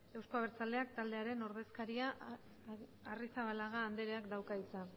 euzko abertzaleak taldearen ordezkaria arrizabalaga andrea dauka hitza